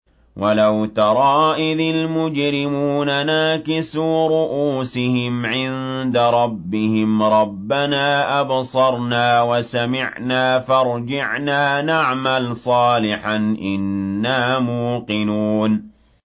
وَلَوْ تَرَىٰ إِذِ الْمُجْرِمُونَ نَاكِسُو رُءُوسِهِمْ عِندَ رَبِّهِمْ رَبَّنَا أَبْصَرْنَا وَسَمِعْنَا فَارْجِعْنَا نَعْمَلْ صَالِحًا إِنَّا مُوقِنُونَ